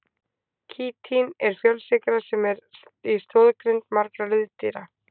Kítín er fjölsykra sem er í stoðgrind margra liðdýra.